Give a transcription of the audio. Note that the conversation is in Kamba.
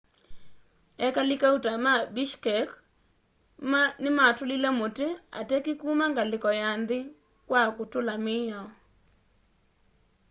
ekali kaũta ma bishkek nimatũlile mũti atetĩ kũma ngaliko ya nthi kwa kutula miao